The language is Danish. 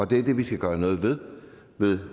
det er det vi skal gøre noget ved med